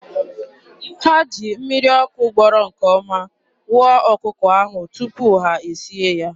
Ha ji mmiri ọkụ gbọrọ nke ọma wụọ ọkụkọ ahụ tupu ha e sie ya.